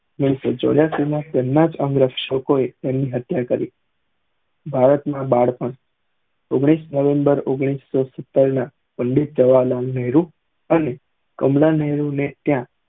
ઓઘ્નીશ સૌ ચૌરસ્સી માં તેમનાજ અંગ રક્ષો એ તેમની હત્યા કરી ભારત માં બાળપણ ઓઘ્નીશ નવમ્બર ઓઘ્નીશા સૌ સિત્તેર ના પંડિત જવાર્હારલાલ નેહરુ અને કમલા નેહરુ ને ત્યાં